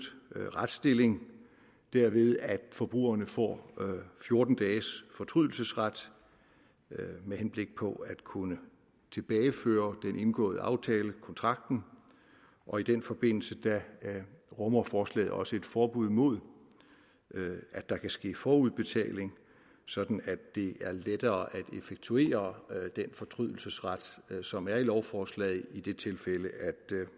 retsstilling derved at forbrugerne får fjorten dages fortrydelsesret med henblik på at kunne tilbageføre den indgåede aftale kontrakten og i den forbindelse rummer forslaget også et forbud mod at der kan ske forudbetaling sådan at det er lettere at effektuere den fortrydelsesret som er i lovforslaget i det tilfælde